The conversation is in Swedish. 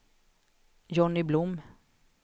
Johnny Blom